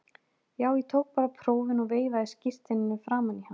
Já, ég tók bara prófin og veifaði skírteininu framan í hann.